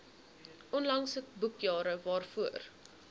onlangse boekjare waarvoor